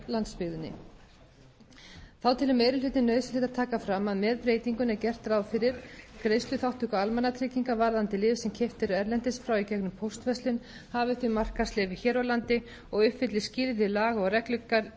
landsbyggðinni þá telur meiri hlutinn nauðsynlegt að taka fram að með breytingunni er gert ráð fyrir greiðsluþátttöku almannatrygginga varðandi lyf sem keypt eru erlendis frá í gegnum póstverslun hafi þau markaðsleyfi hér á landi og uppfylli skilyrði laga og